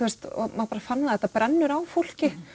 maður fann það þetta brennur á fólki